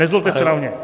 Nezlobte se na mě!